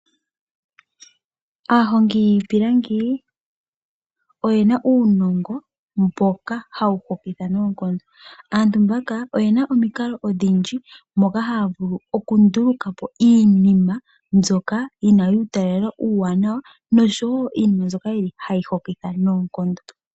Aahongi yiipilangi oyena uunongo mboka hawu hokitha noonkondo. Aantu mbaka oyena omikalo odhindji moka haya vulu oku ndulukapo iinima mbyoka yina uutalelo uuwanawa noshowo iinima mbyoka hayi hokitha noonkondo.